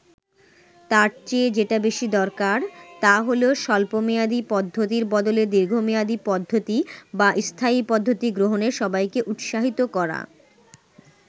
তার চেয়ে যেটা বেশি দরকার, তা হলো স্বল্প মেয়াদী পদ্ধতির বদলে দীর্ঘমেয়াদী পদ্ধতি বা স্থায়ী পদ্ধতি গ্রহণে সবাইকে উৎসাহিত করা।